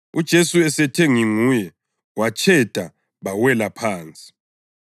UJesu esethe, “Nginguye,” batsheda bawela phansi.